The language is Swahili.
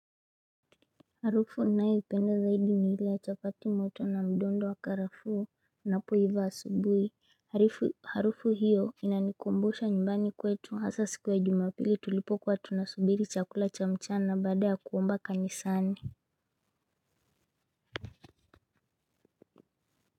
Harufu nanayoipenda zaidi ni ile ya chapati moto na mdondo wa karafu unapoiva asubuhi harufu hiyo inanikumbusha nyumbani kwetu hasa siku ya jumapili tulipo kuwa tunasubiri chakula cha mchana baada ya kuomba kanisani.